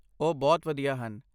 ਉਹ ਬਹੁਤ ਵਧੀਆ ਹਨ।